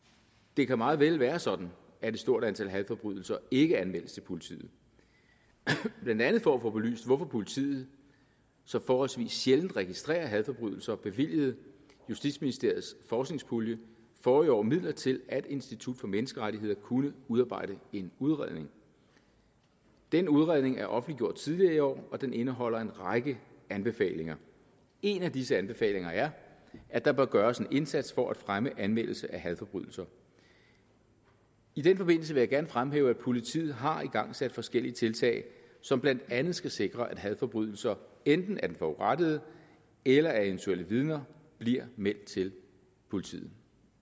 det kan meget vel være sådan at et stort antal hadforbrydelser ikke anmeldes til politiet blandt andet for at få belyst hvorfor politiet så forholdsvis sjældent registrerer hadforbrydelser bevilgede justitsministeriets forskningspulje forrige år midler til at institut for menneskerettigheder kunne udarbejde en udredning denne udredning er offentliggjort tidligere i år og den indeholder en række anbefalinger en af disse anbefalinger er at der bør gøres en indsats for at fremme anmeldelse af hadforbrydelser i den forbindelse vil jeg gerne fremhæve at politiet har igangsat forskellige tiltag som blandt andet skal sikre at hadforbrydelser enten af den forurettede eller af eventuelle vidner bliver meldt til politiet